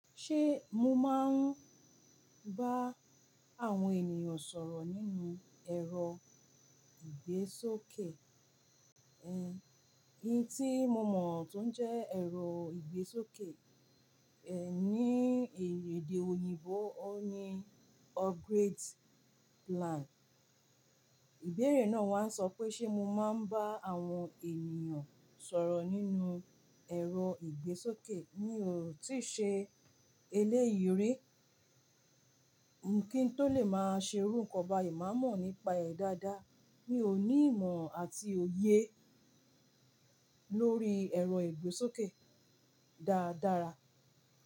Ṣé mo máa ń bá àwọn ènìyàn sọ̀rọ̀ nínú ẹ̀rọ ìgbésókè? Ẹ̀, ohun tí mo mọ̀ tún jẹ́ ẹ̀rọ ìgbésókè, ẹ̀, ní èdè òyìnbó o ní upgrade plan. Ìbéèrè náà wá sọ pé ṣe mo máa ń bá àwọn ènìyàn sọ̀rọ̀ nínú ẹ̀rọ ìgbésókè. Mi ò tíì ṣe eléyìí rí. Kí n tó lè máa ṣe iru nnkan báyìí, màá mọ̀ nípa ẹ̀ dáadáa. Mi ò ní ìmọ̀ àti òye lórí ẹ̀rọ ìgbésókè dáadára.